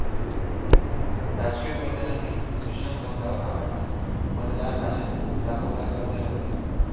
राजकीय मैदानातही श्रीशांत तोंडावर आपटला, मतदारराजाने दाखवला घरचा रस्ता